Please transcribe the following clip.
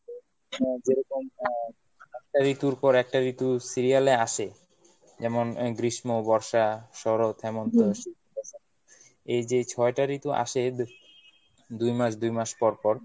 হ্যাঁ যেরকম আহ একটা ঋতুর পর একটা ঋতু serial এ আসে যেমন গ্রীষ্ম, বর্ষা, শরৎ, হেমন্ত শীত, বসন্ত এই যে এই ছয়টা ঋতু আসে দু~ দুই মাস দুই মাস পরপর